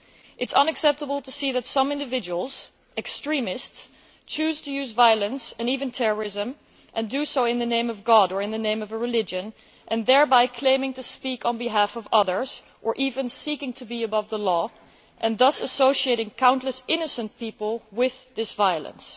It is unacceptable to see that some individuals, extremists, choose to use violence and even terrorism and do so in the name of god or in the name of a religion, claiming thereby to speak on behalf of others or even seeking to be above the law and thus associating countless innocent people with this violence.